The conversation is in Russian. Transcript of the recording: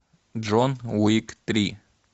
джон уик три